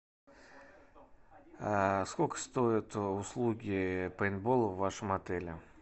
сколько стоят услуги пейнтбола в вашем отеле